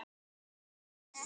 Hann gaus